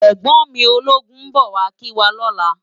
Ègbòn mi ólógún n bò wá kiwá lòlá